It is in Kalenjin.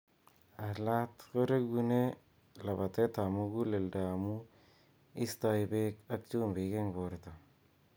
Alaat koregune labateet ap muguleldo amuu istoi beek ak chumbiik eng borto.